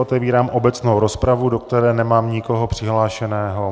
Otevírám obecnou rozpravu, do které nemám nikoho přihlášeného.